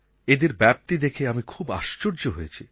এদের ব্যপ্তি দেখে আমি খুব আশ্চর্যান্বিত হয়েছি